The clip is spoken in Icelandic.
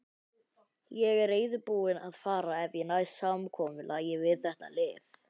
Ég er reiðubúinn að fara ef ég næ samkomulagi við þetta lið.